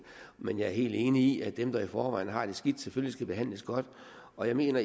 men jeg er enig i at dem der i forvejen har det skidt selvfølgelig skal behandles godt og jeg mener